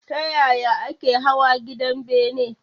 Ta yaya ake hawa gidan bene?